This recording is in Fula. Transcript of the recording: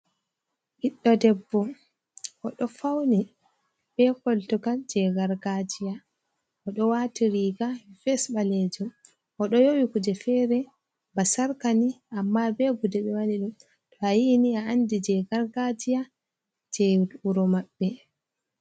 Ɓiɗɗo debbo, o ɗo fauni, be koltungal je gargajiya, o ɗo wati riga, ves ɓalejum, o ɗo yewi kuje fere ba sarkani, amma be gude be waɗi dum , to a yiini a andi je gargajiya, je wuro mabbe.